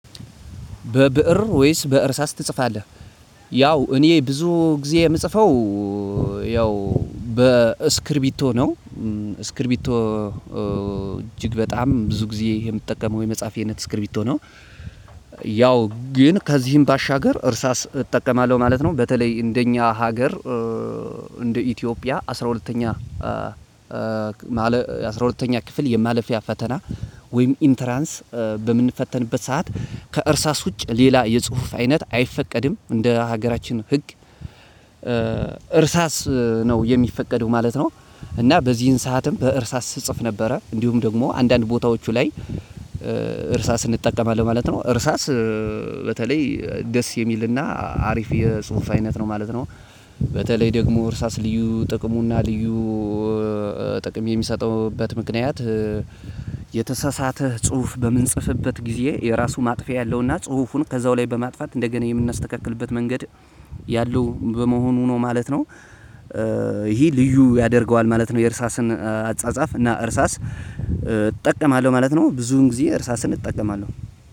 በብእር ወይስ በእርሳስ ትጽፋለህ? ያው እኔ ብዙ ጊዜ የምጽፈው ያው በስክሪቢቶ ነው። ስክሪቢቶ እጅግ በጣም ብዙ ጊዜ የምትጠቀመው የመጻፍያ እይነት ስክሪቢት ነው። ያው ግን ከዚህም ባሻገር እርሳስ እጠቀማለው ማለት ነው። በተለይ እንደኛ ሀገር እንደ ኢትዮጵያ አስራ ሁለተኛ አስራ ሁለተኛ ክፍል የማለፊያ ፈተና ወይም ኢንተራንስ በምንፈተንበት ሰዓት ከእርሳስ ውጭ ሌላ የጽሁፍ አይነት አይፈቀድም እንደ ሀገራችን ህግ እርሳስ ነው የሚፈቀደው ማለት ነው። እና በዚህን ሰዓትም በእርሳስ ስጽፍ ነበረ እንዲሁም ደግሞ አንዳንድ ቦታዎቹ ላይ እርሳስ እንጠቀማለን ማለት ነው። እርሳስ በተለይ ደስ የሚልና አሪፍ የጽሁፍ አይነት ነው ማለት ነው። በተለይ ደግሞ እርሳስ ልዩ ጥቅሙና ልዩ ጥቅም የሚሰጥበት ምክንያት የተሳሳተ ጽሁፍ በምንጽፍበት ጊዜ የራሱ ማጥፊያ ያለውና ጽሁፉን ከዛው ላይ በማጥፋት እንደገና የምናስተካክልበት መንገድ ያለው በመሆኑ ነው ማለት ነው። ይሄ ልዩ ያደርገዋል ማለት ነው። የእርሳስን አጻጻፍ እና እርሳስ እጠቀማለው ማለት ነው ብዙን ጊዜ እርሳስን እጠቀማለው።